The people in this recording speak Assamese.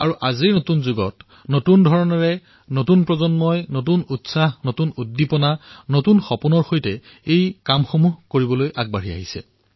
কিন্তু নতুন যুগত নতুন ধৰণে নতুন প্ৰজন্ম নতুন উৎসাহেৰে নতুন সপোনৰ সৈতে এই কাম কৰাৰ বাবে আজি সকলো আগবাঢ়ি আহিছে